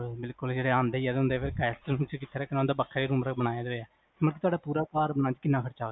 ਬਿਲਕੁਲ ਜਿਹੜੇ ਆਉਂਦੇ ਹੀ ਹੁੰਦੇ ਫਿਰ ਵੱਖਰਾ ਰੂਮ ਬਣਾਇਆ ਹੋਇਆ, ਮਤਲਬ ਤੁਹਾਡਾ ਪੂਰਾ ਘਰ ਬਣਾਉਣ ਚ ਕਿੰਨਾ ਖਰਚਾ ਹੋਇਆ?